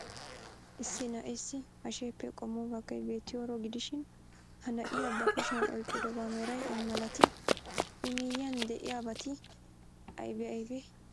Issi na'eessi hasheppe qommo baggay beettiyooro gidishin, ha na'iyaa ba kushiyan oyqqidobaa meray ay malatii? I miyyiyaan de'iyaabati aybee aybee?